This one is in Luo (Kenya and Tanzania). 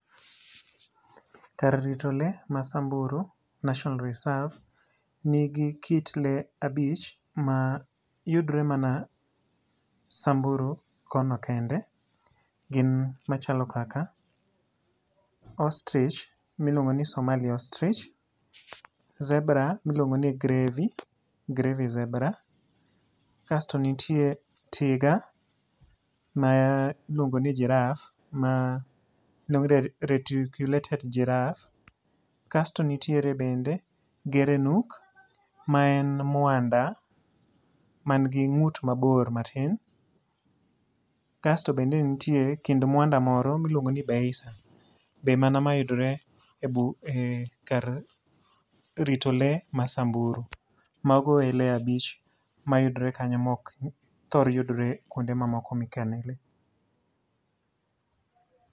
kar rito le mar samburu national reserve ni gi kit le abich mayudre man samburu kono kende ,gin machalo kaka ostrich miluongo ni somali ostrich, zebra miluongo ni grevi zebra kasto nitie tiga m iluongo ni giraffe ma iluongo ni retulated giraffe kasto nitiere bende gerenuk ma en mwanda man gi ngut mabor matin kasto bende nitie kit mwanda moro miluongo ni Beisa be mana mayudre e kar rito le ma samburu, mago e lee abich mayudore kanyo ma ok thor yudore kuonde mamoko ma ikane le.